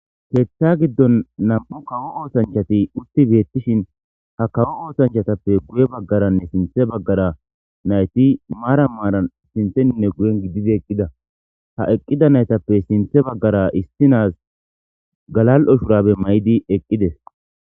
Keththa giddon nam7u kawo oosanchati utti beettishin ha kawo oosanchatappe guye baggaranne sinthe baggara nayti maara maaran sintheninne guyen gididi eqqida ha eqqida naytappe sinthe baggara issinas galal7o shurabe may7di eqqides